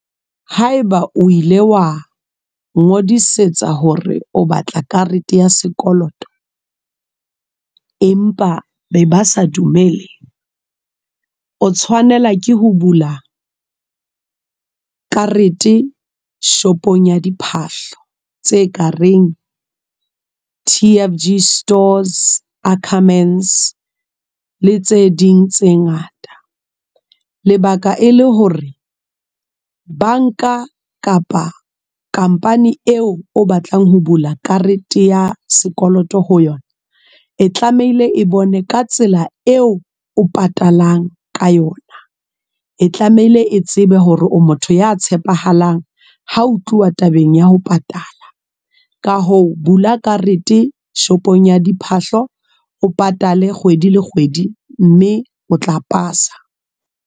Haeba o ile wa, ngodisetsa hore o batla karete ya sekoloto. Empa be ba sa dumele. O tshwanela ke ho bula, karete shop-ong ya diphahlo tse kareng T_F_G stores, Ackermans le tse ding tse ngata. Lebaka e le hore, bank-a kapa khampani eo o batlang ho bula karete ya sekoloto ho yona. E tlamehile e bone ka tsela eo o patalang ka yona. E tlamehile e tsebe hore o motho ya tshepahalang. Ho tluwa tabeng ya ho patala. Ka hoo bula karete shop-ong ya diphahlo. O patale kgwedi le kgwedi, mme o tla pasa.